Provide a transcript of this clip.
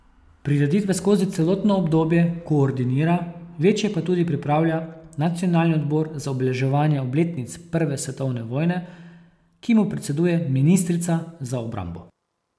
Prireditve skozi celotno obdobje koordinira, večje pa tudi pripravlja nacionalni odbor za obeleževanje obletnic prve svetovne vojne, ki mu predseduje ministrica za obrambo.